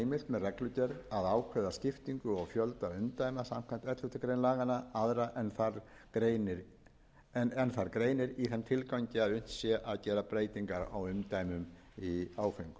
með reglugerð að ákveða skiptingu og fjölda umdæma samkvæmt elleftu grein laganna aðra en þar greinir í þeim tilgangi að unnt sé að gera breytingar á umdæmum í áföngum